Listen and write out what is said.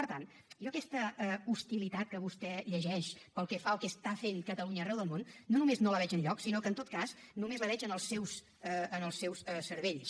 per tant jo aquesta hostilitat que vostè llegeix pel que fa al que fa catalunya arreu del món no només no la veig enlloc sinó que en tot cas només la veig en els seus cervells